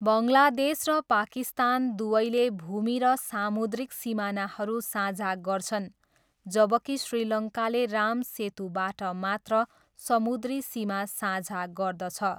बङ्गलादेश र पाकिस्तान दुवैले भूमि र सामुद्रिक सीमानाहरू साझा गर्छन्, जबकि श्रीलङ्काले राम सेतुबाट मात्र समुद्री सीमा साझा गर्दछ।